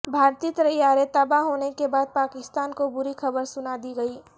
بھارتی طیارے تباہ ہو نے کے بعد پاکستان کو بری خبر سنا دی گئی